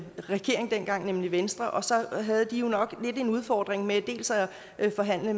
regering dengang nemlig venstre og så havde de jo nok lidt af en udfordring med at forhandle